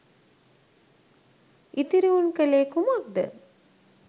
ඉතිරි උන් කලේ කුමක්ද